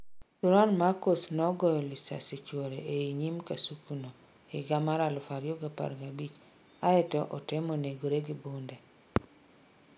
Thuram macos nogoyo lisasi chuore ei nyime kasuku no higa 2015 aeto otemo negre gi bunde